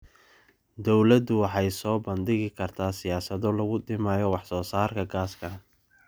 Dawladdu waxay soo bandhigi kartaa siyaasado lagu dhimayo wax soo saarka gaaska